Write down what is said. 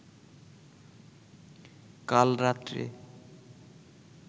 কাল রাত্রে